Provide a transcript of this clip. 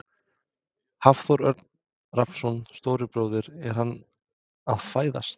Hafþór Örn Rafnsson, stóri bróðir: Er hann að fæðast?